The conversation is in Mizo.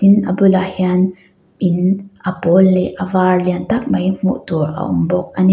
tin a bulah hian in a pawl leh a var lian tak mai hmuh tur a awm bawk a ni.